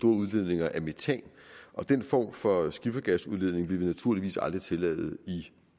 udledninger af metan og den form for skiffergasudledning vil vi naturligvis aldrig tillade i